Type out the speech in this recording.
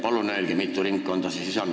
Palun öelge, mitu ringkonda see siis on.